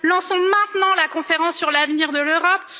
Lançons maintenant la conférence sur l'avenir de l'Europe.